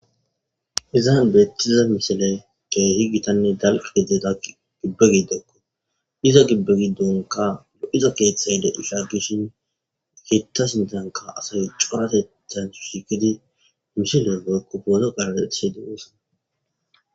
Izan bettiza misiley keehi giittanne dalgga gidida giibbe gidokko iza giibbe giddonkka lo'iza keththe gidishinkka iza sinththankka asay corateththnikka shiiqqidi miishedda woykko pooto qaraxishe de'es